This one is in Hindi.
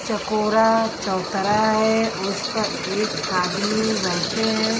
चकोरा चौतरा है उस पर एक आदमी बैठे हैं।